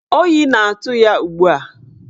Oyi na-atụ ya ugbua.